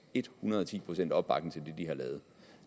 et hundrede ti procent opbakning til det de har lavet